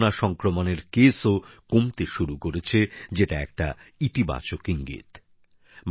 এখন তো করোনা সংক্রমনের সংখ্যাও কমতে শুরু করেছে যেটা একটি ইতিবাচক ইঙ্গিত